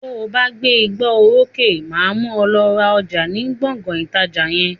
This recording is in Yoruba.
To bá gbé ìgbà oró sókè, máa mú ọ lọ ra ọjà ni Gbọ̀ngán ìtajà yẹn.